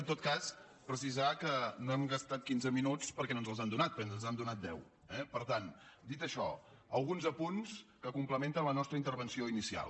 en tot cas precisar que no hem gastat quinze minuts perquè no ens els han donat perquè ens en han donat deu eh per tant dit això alguns apunts que complementen la nostra intervenció inicial